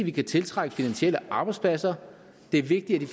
vi kan tiltrække finansielle arbejdspladser det er vigtigt